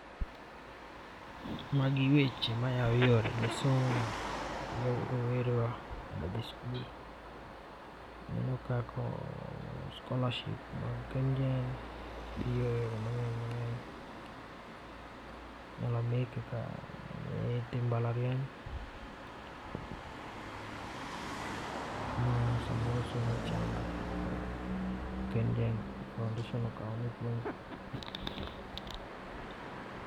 Magi weche ma ya yore somo. rowere wa madwa dhi skul ,aneno ka ko scholarship mag KenGen biro e yo mangeny mangeny. Inyalo mi kaka nyithi mbalariany ma samoro somo chando to KenGen foundation okawo ni puonjo.